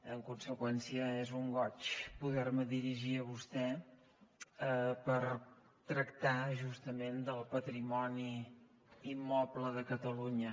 en conseqüència és un goig poder me dirigir a vostè per tractar justament del patrimoni immoble de catalunya